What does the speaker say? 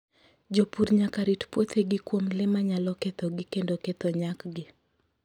Jopur nyaka rit puothegi kuom le manyalo kethogi kendo ketho nyakgi.